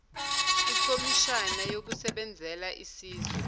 ikomishana yabasebenzela isizwe